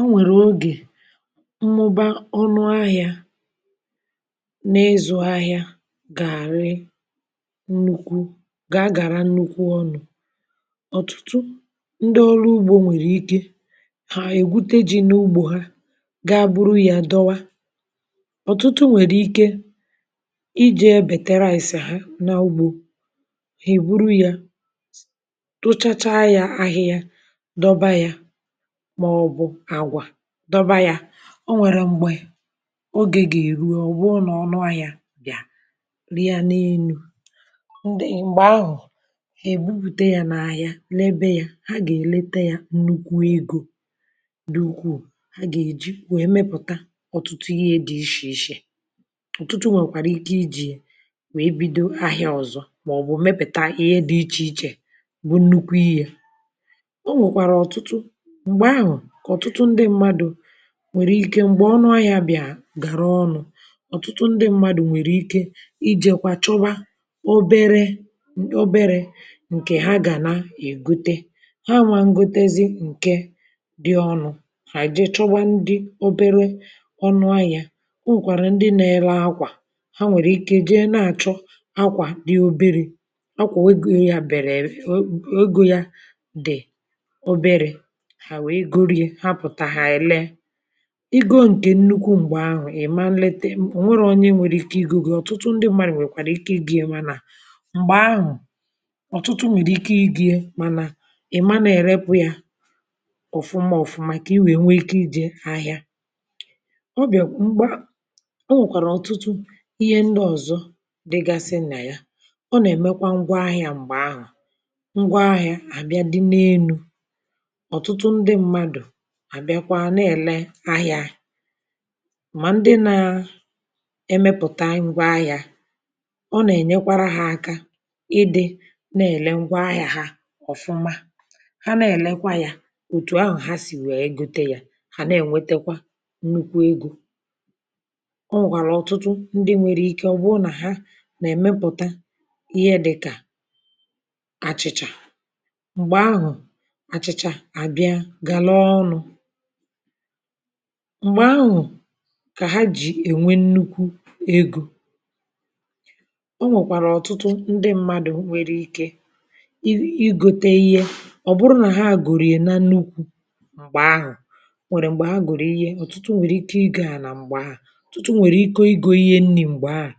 O nwèrè ogè mmụba ọnụ ahịȧ n’ịzụ ahịa gà-àrị nnukwu ,gà-agàra nnukwu ọnụ. Ọtụtụ ndị ọrụ ugbȯ nwèrè ike ha ègwute ji̇ n’ugbȯ ha, gaa buru yȧ dọwa, ọ̀tụtụ nwèrè ike ije bètee rice ha n’ugbȯ hà èburu yȧ tụchacha yȧ ahịhịa dọba ya ,maọbụ agwa dọba ya,O nwèrè m̀gbè ogè gà-èru ọ bụrụ nà ọnụ ahịȧ bịa rịa n’enu, m̀gbè ahụ̀ èbupùte yȧ n’ahịa lebe ya, ha gà-èlete yȧ nnukwu egȯ dị ukwuu ha gà-èji wee mepụ̀ta ọ̀tụtụ ihe dị̇ ichè ichè, ọtụtụ nwèkwàrà ike iji̇ wee bido ahịȧ ọ̀zọ màọbụ̀ mepùta ihe dị̇ ichè ichè bụ̇ nnukwu ihe. O nwèkwàrà ọtụtụ, m̀gbè ahụ ka ọtụtụ ndị mmadụ nwere ike mgbe ọnụ ahịȧ bị̀a gàrà ọnụ, ọ̀tụtụ ndị mmadụ̀ nwèrè ike ijekwa chọba oberėobere ǹkè ha gà na-ègote ,ha nwà ngotezi ǹke dị ọnụ ,ha jee chọba ndị obere ọnụ ahịa. O nwèkwàrà ndị na-ele akwà ,ha nwèrè ike jee nà-àchọ akwà dị obere, akwà ego ya bere oo ego ya dị obere, ha wee goro ya, ha pụta ha ree ,igo nkè nnukwu m̀gbè ahụ̀ ima nlete, ọ̀ nwere onye nwèrè ike igȯ gị̇, ọ̀tụtụ ndị mmadụ̀ nwèkwàrà ike igo ya mànà m̀gbè ahụ̀ ọ̀tụtụ nwèrè ike igo ya, mànà ị̀ mana èrepụ ya ọ̀fụma ọ̀fụma kà i wèe nwee ike ijė ahịȧ. Ọ bịà m̀gba, ọ nwèkwàrà ọ̀tụtụ ihe ndị ọ̀zọ dịgasị nà ya, ọ nà-èmekwa ngwa ahịȧ m̀gbè ahụ̀ ngwa ahịȧ àbịa dị n’enu, ọtụtụ ndị mmadụ àbịakwa nà-èle ahịa mà ndị na emepùta ngwa ahịa, ọ nà-ènyekwara ha aka ịdị̇ na-èle ngwa ahịa hȧ ọ̀fụma ,ha na-èlekwa yȧ òtù ahụ̀ ha sì wee gute yȧ ,hà na-ènwetekwa nnukwu ego. O nwèkwàrà ọ̀tụtụ ndị nwèrè ike ọ̀ bụrụ nà ha nà-èmepùta ihe dịkà àchị̀chà, m̀gbè ahụ̀ àchị̀chà abịya galaa ọnụ, mgbe ahụ ka ha ji ènwe nnukwu ego. O nwèkwàrà ọ̀tụtụ ndị mmadụ̀ nwere ike i i gote ihe, ọ̀ bụrụ nà ha gòrò ya na nukwu̇ m̀gbè ahụ̀, nwèrè m̀gbè ha gòrò ihe ,ọ̀tụtụ nwèrè ike igo ana m̀gbè ahụ̀, ọ̀tụtụ nwèrè ike igo ihe nri̇ m̀gbè ahụ̀,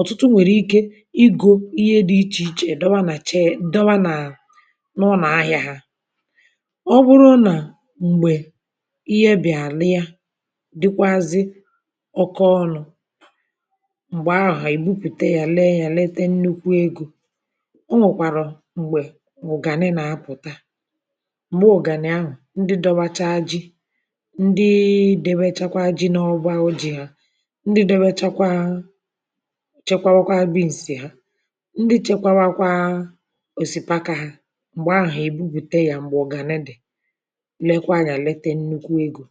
ọ̀tụtụ nwèrè ike igo ihe dị̇ ichè ichè dọwa nà chee dọwa nà ụnọ ahịa ha,ọ bụrụna mgbe ihe bịa rịya dịkwazị ọkọ ọnụ, m̀gbè ahụ̀ ha ebupùte ya lèe ya lete nnukwu ego. O nwèkwàrụ m̀gbè ụgànị nà-apụ̀ta, m̀gbè ụgànị ahụ̀ ndị dọwachaa ji, ndịị déwèchakwa ji nà ọba jì ha, ndị dọwèchakwa chekwaakwa bi̇nsì ha, ndị chekwaakwa òsìpaka ha, m̀gbè ahụ̀ ha ebupùte ya m̀gbè ụgànị dị lekwa ya lete nnukwu ego.